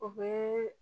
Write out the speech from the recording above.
O bɛ